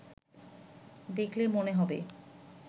দেখলে মনে হবে